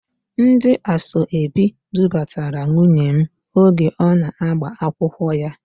Ndị asoebi dupụtara nwunye m oge ọ na-agba akwụkwọ ya.